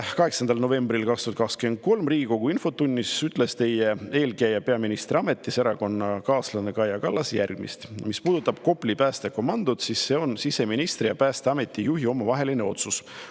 8. novembril 2023 Riigikogu infotunnis ütles teie eelkäija peaministriametis ja erakonnakaaslane Kaja Kallas järgmist: "Mis puudutab Kopli päästekomandot, siis see on siseministri ja Päästeameti juhi omavaheline otsus.